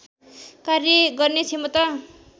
कार्य गर्ने क्षमता